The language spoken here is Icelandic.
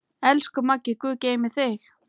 Elsku Maggi, guð geymi þig.